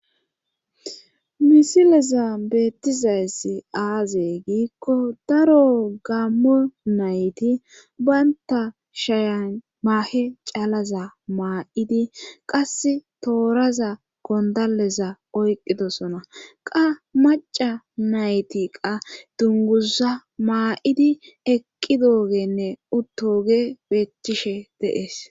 Misileza beettizayssi aazey giikko daro gammo nayti baynta shayan maahe calaza maa'idi qas tooraza gondaleza oyqqidosona qa maca nayti qa dunguza maa'idi eqqi doogenne uttooge beethctcishe deees